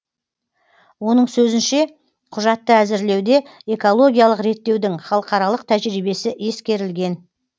оның сөзінше құжатты әзірлеуде экологиялық реттеудің халықаралық тәжірибесі ескерілген